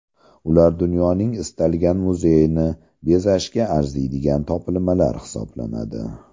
Ular dunyoning istalgan muzeyini bezashga arziydigan topilmalar hisoblanadi.